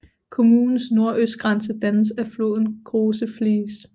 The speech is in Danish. Kommunens nordøstgrænse dannes af floden Große Fließ